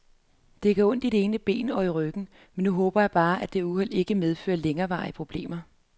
Det gør ondt i det ene ben og i ryggen, men nu håber jeg bare, at dette uheld ikke medfører længerevarende problemer.